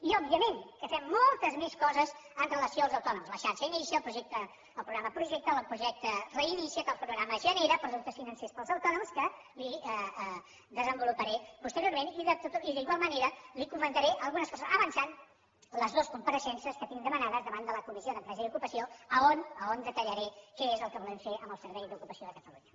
i òbviament que fem moltes més coses amb relació als autònoms la xarxa inicia el projecte reinicia’t el programa genera productes financers per als autònoms que li desenvoluparé posteriorment i d’igual manera li comentaré algunes coses avançant les dues compareixences que tinc demanades davant de la comissió d’empresa i ocupació a on detallaré què és el que volem fer amb el servei d’ocupació de catalunya